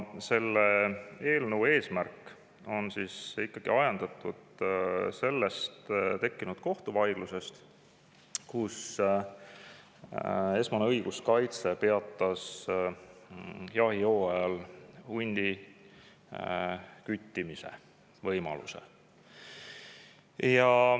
See eelnõu on ajendatud sellest tekkinud kohtuvaidlusest, kus esmane õiguskaitse peatas jahihooajal hundi küttimise võimaluse.